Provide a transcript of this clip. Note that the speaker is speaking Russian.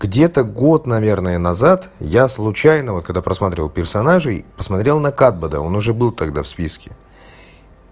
где-то год наверное назад я случайно вот когда просматривал персонажей посмотрел на катбада он уже был тогда в списке